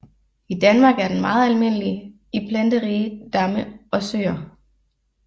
I Danmark er den meget almindelig i planterige damme og søer